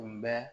Tun bɛ